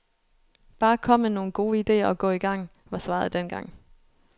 Bare kom med nogle gode idéer og gå igang, var svaret dengang.